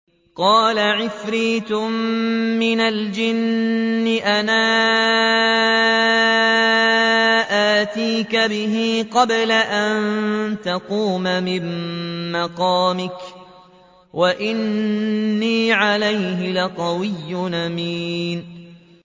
قَالَ عِفْرِيتٌ مِّنَ الْجِنِّ أَنَا آتِيكَ بِهِ قَبْلَ أَن تَقُومَ مِن مَّقَامِكَ ۖ وَإِنِّي عَلَيْهِ لَقَوِيٌّ أَمِينٌ